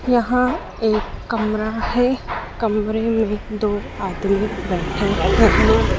यहां एक कमरा है कमरे में दो आदमी बैठे हैं।